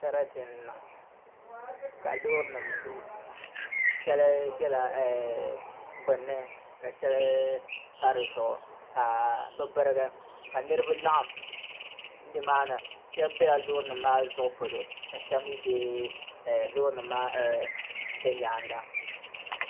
Sarati n niŋ ka loori nim lu shɛli biɛla gbunni ka shɛli pa dizuɣu ka bi birigi ka niraba laɣam nimaani shab biɛla loori nim maa zuɣu polo ka shab mii bɛ loori nim maa nyaanga